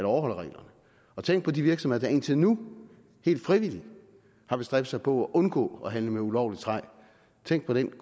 overholder reglerne tænk på de virksomheder der indtil nu helt frivilligt har bestræbt sig på at undgå at handle med ulovligt træ tænk på den